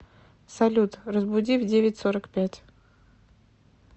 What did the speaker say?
салют разбуди в девять сорок пять